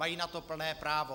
Mají na to plné právo.